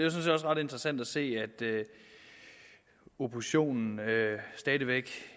også ret interessant at se at oppositionen stadig væk